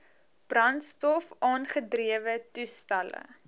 brandstof aangedrewe toestelle